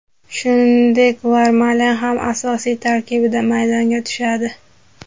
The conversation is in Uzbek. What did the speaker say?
Shuningdek, Vermalen ham asosiy tarkibda maydonga tushadi.